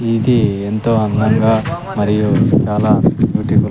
ఇధీ ఎంతో అందంగా మరియు చాలా బ్యూటిఫుల్ .